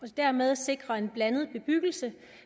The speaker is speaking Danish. det dermed sikrer en blandet bebyggelse